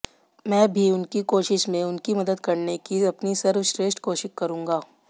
मैं भी उनकी कोशिश में उनकी मदद करने की अपनी सर्वश्रेष्ठ कोशिश करूंगा